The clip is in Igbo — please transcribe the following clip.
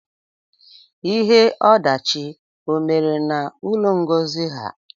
Ihe odachị o mere na ụlọ Ngozi ha?